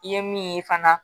I ye min ye fana